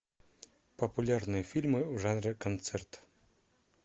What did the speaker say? популярные фильмы в жанре концерт